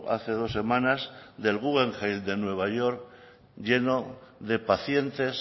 hace dos semanas del guggenheim de nueva york lleno de pacientes